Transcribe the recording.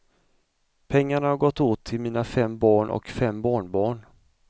Pengarna har gått åt till mina fem barn och fem barnbarn.